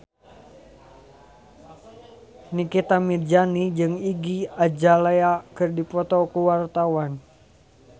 Nikita Mirzani jeung Iggy Azalea keur dipoto ku wartawan